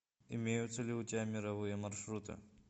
имеются ли у тебя мировые маршруты